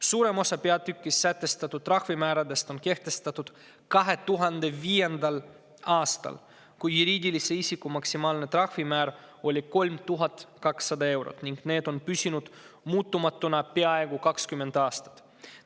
Suurem osa peatükis sätestatud trahvimääradest on kehtestatud 2005. aastal, kui juriidilise isiku maksimaalne trahvimäär oli 3200 eurot, ning need määrad on püsinud muutumatuna peaaegu 20 aastat.